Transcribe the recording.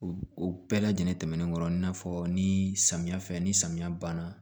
O bɛɛ lajɛlen tɛmɛnen kɔ i n'a fɔ ni samiya fɛ ni samiya banna